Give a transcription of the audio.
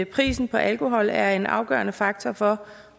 prisen på alkohol er en afgørende faktor for